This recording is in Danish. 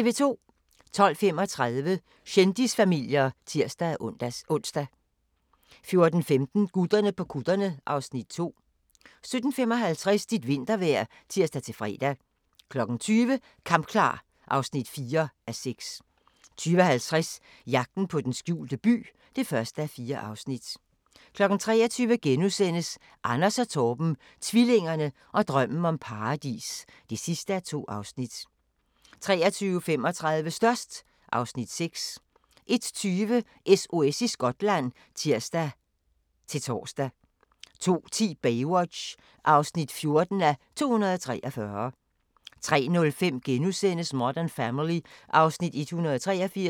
12:35: Kendisfamilier (tir-ons) 14:15: Gutterne på kutterne (Afs. 2) 17:55: Dit vintervejr (tir-fre) 20:00: Kampklar (4:6) 20:50: Jagten på den skjulte by (1:4) 23:00: Anders og Torben - tvillingerne og drømmen om paradis (2:2)* 23:35: Størst (Afs. 6) 01:20: SOS i Skotland (tir-tor) 02:10: Baywatch (14:243) 03:05: Modern Family (Afs. 183)*